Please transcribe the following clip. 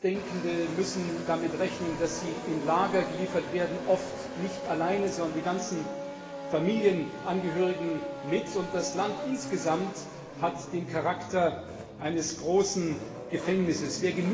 Andersdenkende müssen damit rechnen, dass sie in Lager geliefert werden, oft nicht alleine, sondern alle Familienangehörigen mit, und das Land insgesamt hat den Charakter eines großen Gefängnisses.